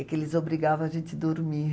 É que eles obrigavam a gente a dormir.